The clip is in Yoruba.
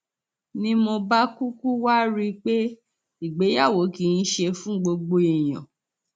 ni mo bá kúkú wáá rí i pé ìgbéyàwó kì í ṣe fún gbogbo èèyàn